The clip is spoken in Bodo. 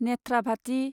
नेथ्राभाथि